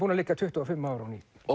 líka tuttugu og fimm ára